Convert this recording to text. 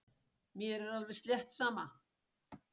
Mér er alveg slétt sama.